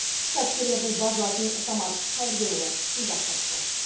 кәсіпкерлердің базынасын самат қайрденұлы тыңдап қайтты